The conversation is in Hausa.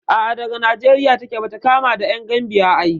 A'a daga Nijeriya take, bata kama da ƴan Gambiya ai